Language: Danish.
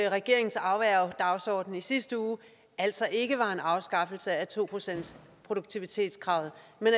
regeringens afværgedagsorden i sidste uge altså ikke var en afskaffelse af to procentsproduktivitetskravet